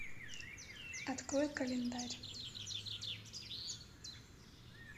открой календарь